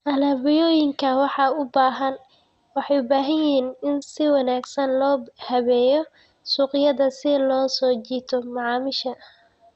Alaabooyinka waxay u baahan yihiin in si wanaagsan loo habeeyo suuqyada si loo soo jiito macaamiisha.